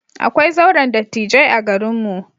Akwai zauren dattijai a garinmu.